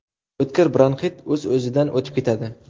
O‘tkir bronxit o‘z-o‘zidan o‘tib ketadi.